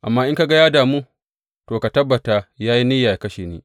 Amma in ka ga ya damu, to, ka tabbata ya yi niyya yă kashe ni.